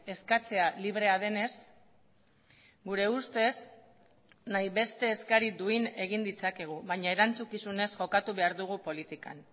eskatzea librea denez gure ustez nahi beste eskari duin egin ditzakegu baina erantzukizunez jokatu behar dugu politikan